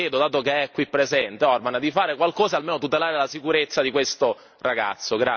Ecco io le chiedo, dato che è qui presente, Orbán, di fare qualcosa almeno per tutelare la sicurezza di questo ragazzo.